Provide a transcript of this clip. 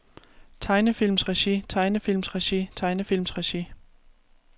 tegnefilmsregi tegnefilmsregi tegnefilmsregi